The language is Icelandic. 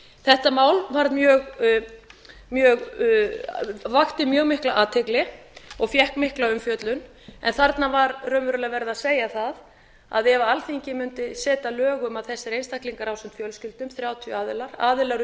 þetta mál vakti mjög mikla athygli og fékk mikla umfjöllun en þarna var raunverulega verið að segja það að ef alþingi mundi setja lög um að þessir einstaklingar ásamt fjölskyldum þrjátíu aðilar aðilar